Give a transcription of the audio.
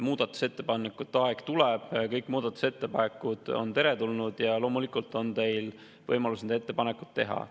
Muudatusettepanekute aeg tuleb, kõik muudatusettepanekud on teretulnud ja loomulikult on teil võimalus need ettepanekud teha.